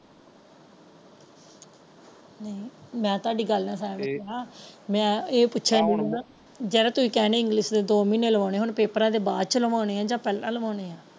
ਮੈਂ ਤੇ ਤੁਹਾਡੀ ਗੱਲ ਨਾਲ ਸਹਿਮਤ ਹੈ ਮੈਂ ਇਹ ਪੁੱਛਣ ਡਾਇ ਹਾਂ ਜਿਹੜਾ ਤੁਸੀ ਇਹ ਕਹਿਣ ਡਾਇ ਇੰਗਲਿਸ਼ ਦੇ ਦੋ ਮਹੀਨੇ ਲਵਾਉਣੇ ਹੈ ਉਹ ਪੇਪਰਾਂ ਦੇ ਬਾਅਦ ਵਿੱਚੋ ਲਵਾਉਣੇ ਹੈ ਯਾ ਪਹਿਲਾ ਲਵਾਉਣੇ ਹੈ।